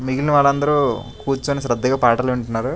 మిగిలిన వాళ్ళందరూ కూర్చొని శ్రద్ధగా పాటలు వింటున్నారు.